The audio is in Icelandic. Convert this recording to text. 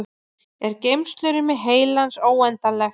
er geymslurými heilans óendanlegt